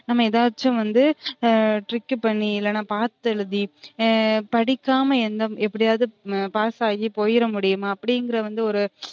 நம்ம எதாச்சும் வந்து trick பண்ணி இல்லைனா பாத்து எழுதி படிக்காம எப்டியவது pass ஆகி போயிறமுடியுமா அப்டிங்ற வந்து ஒரு